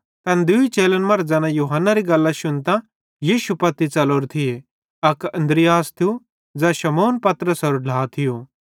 तैन दूई चेलन मरां ज़ैना यूहन्नेरी गल्लां शुन्तां यीशु पत्ती च़लोरे थिये अक अन्द्रियास थियो ज़ै शमौनपतरसेरो ढ्ला थियो